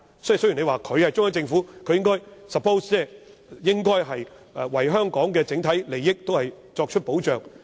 雖然你說，作為中央政府是應該為香港整體利益作出保障。